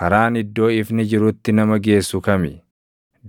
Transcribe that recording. “Karaan iddoo ifni jirutti nama geessu kami?